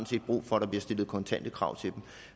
set brug for at der bliver stillet kontante krav til dem